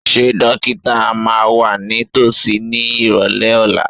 Ṣé dókítà máa wà ní tòsí ní ìrọ̀lẹ́ ọ̀la?